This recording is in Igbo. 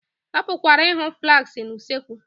A pụkwara ịhụ flaskị na usekwu